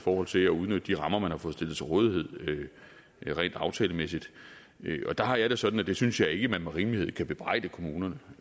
forhold til at udnytte de rammer man har fået stillet til rådighed rent aftalemæssigt og der har jeg det sådan at det synes jeg ikke man med rimelighed kan bebrejde kommunerne